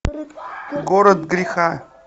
город греха